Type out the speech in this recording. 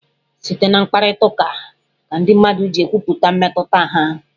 Site na mkparịta ụka ka ndị mmadụ ji ekwupụta mmetụta ha.